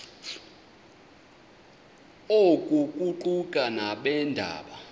oku kuquka nabeendaba